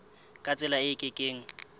ka tsela e ke keng